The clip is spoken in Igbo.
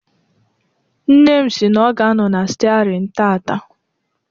Nne m si na ọ ga-anọ na stiarin tataa.